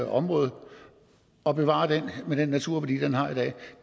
område og bevarer den med den naturværdi den har i dag